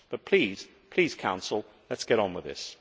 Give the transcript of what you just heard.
Please, Council, let us get on with this.